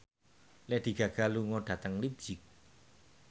Lady Gaga lunga dhateng leipzig